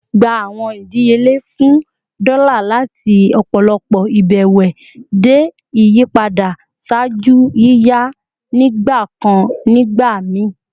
Gba awọn idiyele fun dola lati ọpọlọpọ ibẹwẹ de iyipada ṣaaju yiyan nigbakan nigbamii!